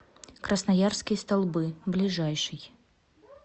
красноярские столбы ближайший